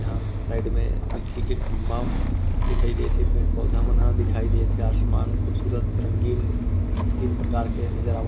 यहाँ साइड में बिजली के खम्भा दिखाई देत हे पेड़-पौधा मन ह दिखाई देत हे आसमान खूबसूरत रंगीन तीन प्रकार के नज़र आवत--